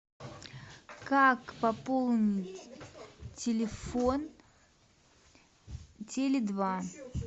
как пополнить телефон теле два